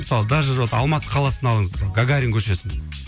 мысалы даже вот алматы қаласын алыңыз гагарин көшесін